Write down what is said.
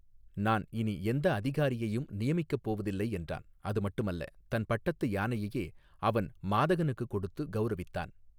நான் இனி எந்த அதிகாரியையும் நியமிக்கப் போவதில்லை என்றான் அது மட்டுமல்ல தன் பட்டத்து யானையையே அவன் மாதகனுக்கு கொடுத்து கௌரவித்தான்.